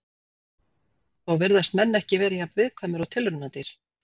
Þó virðast menn ekki vera jafn viðkvæmir og tilraunadýr.